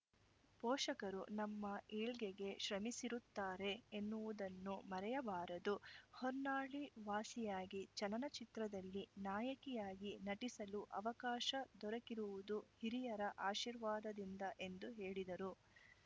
ಪೋಷಕರು ನಮ್ಮ ಏಳ್ಗೆಗೆ ಶ್ರಮಿಸಿರುತ್ತಾರೆ ಎನ್ನುವುದನ್ನು ಮರೆಯಬಾರದು ಹೊನ್ನಾಳಿ ವಾಸಿಯಾಗಿ ಚಲನಚಿತ್ರದಲ್ಲಿ ನಾಯಕಿಯಾಗಿ ನಟಿಸಲು ಅವಕಾಶ ದೊರಕಿರುವುದು ಹಿರಿಯರ ಆಶೀರ್ವಾದದಿಂದ ಎಂದು ಹೇಳಿದರು